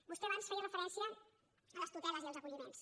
vostè abans feia referència a les tuteles i als acolli·ments